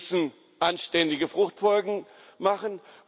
Wir müssen anständige Fruchtfolgen machen.